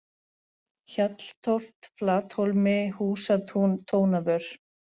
Hjalltóft, Flathólmi, Húsatún, Tónavör